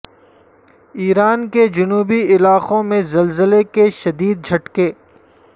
ایران کے جنوبی علاقوں میں زلزلے کے شدید جھٹکے